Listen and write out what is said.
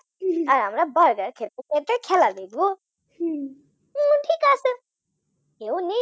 আর আমরা Burger খেতে খেতে খেলা দেখব বললাম ঠিক আছে। কেউ নেই